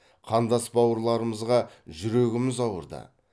қандас бауырларымызға жүрегіміз ауырды